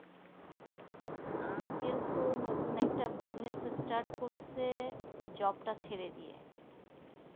uncle তো নতুন একটা busniess একটা স্টার্ট করছে job টা ছেড়ে দিয়ে